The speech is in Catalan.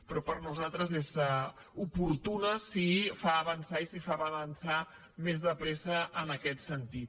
però per nosaltres és oportuna si fa avançar més de pressa en aquest sentit